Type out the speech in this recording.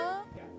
Gəl.